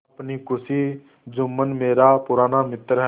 अपनी खुशी जुम्मन मेरा पुराना मित्र है